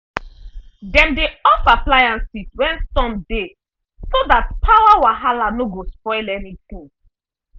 dem dey off appliances when storm dey so that power wahala no go spoil anything.